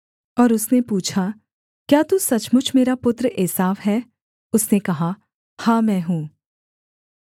और उसने पूछा क्या तू सचमुच मेरा पुत्र एसाव है उसने कहा हाँ मैं हूँ